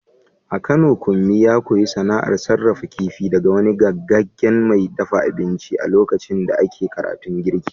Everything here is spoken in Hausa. A Kano Kunmi ya koyi sana’ar sarrafa kifi daga wani gogaggen mai dafa abinci a lokacin da ake karatun girki.